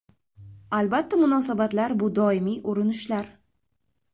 Albatta, munosabatlar bu doimiy urinishlar.